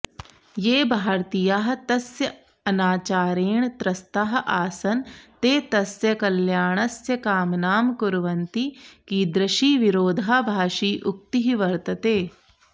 ये भारतीयाः तस्य अनाचारेण त्रस्ताः आसन् ते तस्य कल्याणस्य कामनां कुर्वन्ति कीदृशीविरोधाभाषी उक्तिः वर्तते